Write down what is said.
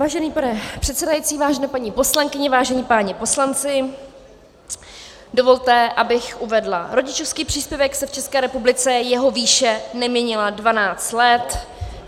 Vážený pane předsedající, vážené paní poslankyně, vážení páni poslanci, dovolte, abych uvedla: rodičovský příspěvek se v České republice, jeho výše neměnila 12 let.